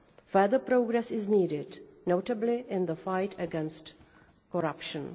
Further progress is needed, notably in the fight against corruption.